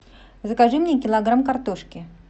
закажи мне килограмм картошки